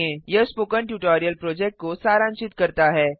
यह spoken tutorial project को सारांशित करता है